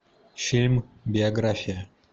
фильм биография